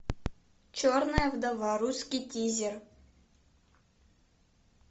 черная вдова русский тизер